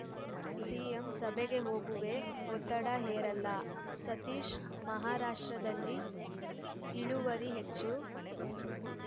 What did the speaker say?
CM ಸಭೆಗೆ ಹೋಗುವೆ ಒತ್ತಡ ಹೇರಲ್ಲ ಸತೀಶ್‌ ಮಹಾರಾಷ್ಟ್ರದಲ್ಲಿ ಇಳುವರಿ ಹೆಚ್ಚು